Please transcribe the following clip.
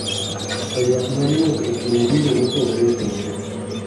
To ywak nyalo wuok e kind dinde mopogore opogore.